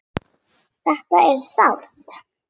Þetta er sárt.